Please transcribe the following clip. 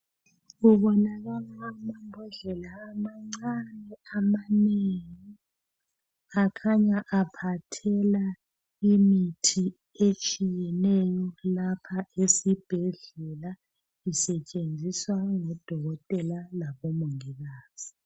Kubonakala amambodlela amancane amanengi. Akhanya aphathela imithi etshiyeneyo lapha esibhedlela. Isetshenziswa ngudokotela labomongikazi.